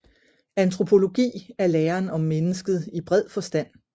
Antropologi er læren om mennesket i bred forstand